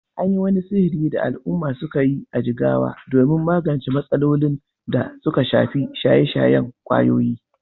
An yi wani shiri da al’umma suka yi a Jigawa domin magance matsalolin da suka shafi shaye-shayen ƙwayoyi